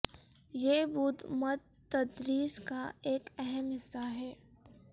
یہ بدھ مت تدریس کا ایک اہم حصہ ہے